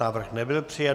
Návrh nebyl přijat.